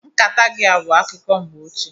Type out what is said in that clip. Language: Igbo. Nkata gị a bụ akụkọ mgbe ochie